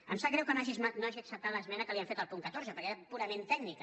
em sap greu que no hagi acceptat l’esmena que li hem fet al punt catorze perquè era purament tècnica